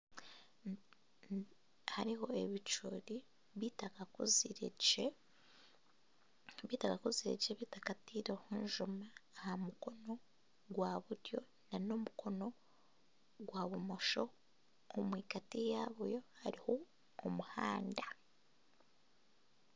Hariho ebicoori bitakakuzire gye bitakataireho njuma aha mukono gwa buryo na n'omukono gwa bumosho ahagati yaabo hariho omuhanda.